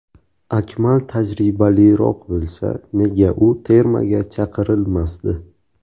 Akmal tajribaliroq bo‘lsa, nega u termaga chaqirilmasdi.